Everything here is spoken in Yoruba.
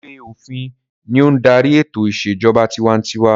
Ìwé-òfin ni ó ń darí ètò ìṣèjọba tiwantiwa.